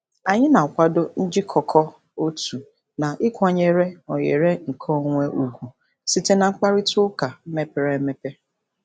Anyị na-akwado njikọkọ otu na ịkwanyere oghere nkeonwe ugwu site na mkparịta ụka mepere emepe.